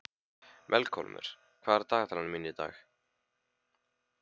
Melkólmur, hvað er í dagatalinu í dag?